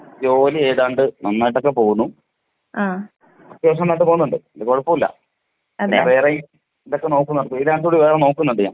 ജോലി ഏതാണ്ട് നന്നായിട്ട് ഒക്കെ പോവുന്നു. അത്യാവിശ്യം നന്നായിട്ട് പോവുന്നുണ്ട്. കോഴപ്പോല്ലാ. ഞാൻ വേറെ ഇതൊക്കെ നോക്കുന്നുണ്ട് ഫ്രീലാൻസർ നോക്കുന്നുണ്ട് ഞാൻ.